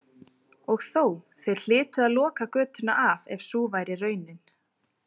Og þó, þeir hlytu að loka götuna af ef sú væri raunin.